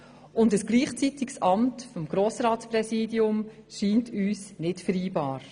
Ein gleichzeitiges Ausüben des Amts als Grossratspräsidentin erscheint uns damit nicht vereinbar.